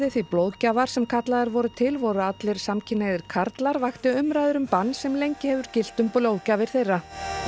því blóðgjafar sem kallaðir voru til voru allir samkynhneigðir karlar vakti umræður um bann sem lengi hefur gilt um blóðgjafir þeirra